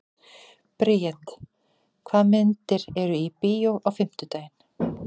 Briet, hvaða myndir eru í bíó á fimmtudaginn?